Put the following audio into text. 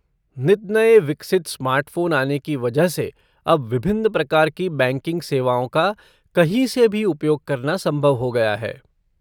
नित नये विकसित स्मार्टफ़ोन आने की वजह से अब विभिन्न प्रकार की बैंकिंग सेवाओं का कहीं से भी उपयोग करना संभव हो गया है।